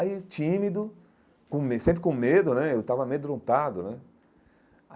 Aí tímido, com me sempre com medo né, eu estava amedrontado né.